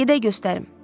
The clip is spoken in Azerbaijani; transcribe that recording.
Gedək göstərim.